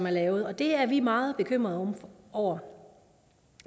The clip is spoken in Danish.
er lavet og det er vi meget bekymrede over